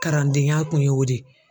Karandenya kun y'o de ye.